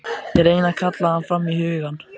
Ég reyni að kalla hann fram í hugann.